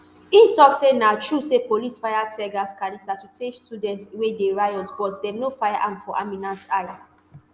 e tok say na true say police fire teargas canister to chase students wey dey riot but dem no fire am for aminat eye